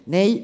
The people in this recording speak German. Nein.